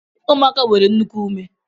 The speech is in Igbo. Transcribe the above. Ụmụaka nwere nnukwu ume